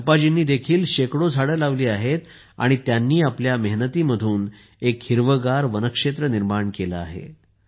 चंपाजींनीही शेकडो झाडे लावली आहेत आणि त्यांनी आपल्या मेहनतीमधून एक हिरवेगार वनक्षेत्रनिर्माण केले आहे